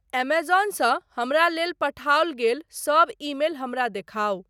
ऐमेज़ॉनसँ हमरा लेल पठाओल गेल सब ईमेल हमरा देखाउ।